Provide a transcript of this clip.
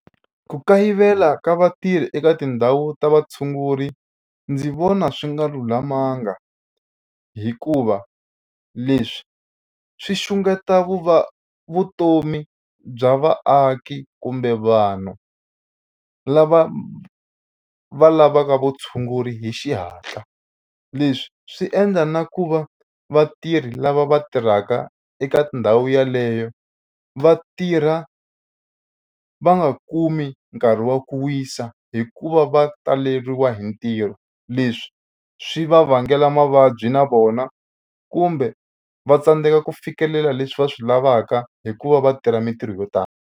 Ku kayivela ka vatirhi eka tindhawu ta vatshunguri ndzi vona swi nga lulamanga hikuva leswi swi xungeta vu va vutomi bya vaaki kumbe vanhu lava va lavaka vutshunguri hi xihatla. Leswi swi endla na ku va vatirhi lava va tirhaka eka ndhawu yeleyo va tirha va nga kumi nkarhi wa ku wisa hi ku va va taleriwa hi ntirho leswi swi va vangela mavabyi na vona kumbe va tsandzeka ku fikelela leswi va swi lavaka hikuva va tirha mitirho yo tala.